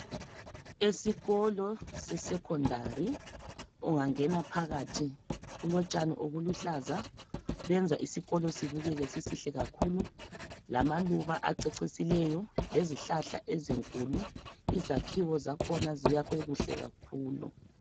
Esikolo se secondary ungangena phakathi kulotshani obuluhlaza benza isikolo sibukeke sisihle kakhulu. Lamaluba acecisileyo lezihlahla ezinkulu. Izakhiwo zakhona zakhiwe kuhle kakhulu.